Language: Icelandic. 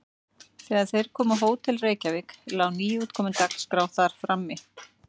Þegar þeir komu á Hótel Reykjavík lá nýútkomin Dagskrá þar frammi.